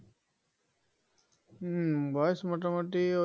হম বয়স মোটামুটি ওই